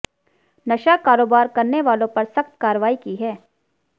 नशा कारोबार करने वालों पर सख्त कार्रवाई की है